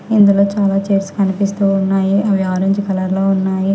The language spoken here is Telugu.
ఇందులో చాలా చైర్స్ కమిపిస్తూ ఉన్నాయి అవి ఆరంజ్ కలర్ లో ఉన్నాయి.